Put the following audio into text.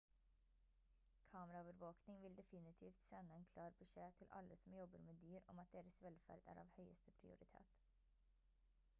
kameraovervåkning vil definitivt sende en klar beskjed til alle som jobber med dyr om at deres velferd er av høyeste prioritet